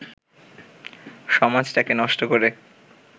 সমাজটাকে নষ্ট করে